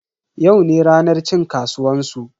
Yau ne ranar cin kasuwan su.